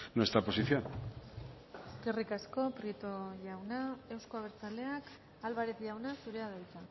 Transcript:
nuestra posición eskerrik asko prieto jauna euzko abertzaleak álvarez jauna zurea da hitza